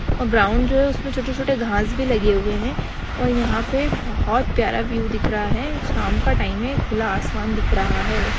Ground जो है उसपे छोटे-छोटे घास भी लगे हुए है और यहा पे बहुत प्यारा विव दिख रहा है शाम का टाइम है खुला आसमान दिख रहा है।